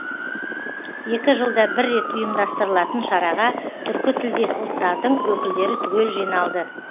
екі жылда бір рет ұйымдастырылатын шараға түркі тілдес ұлттардың өкілдері түгел жиналды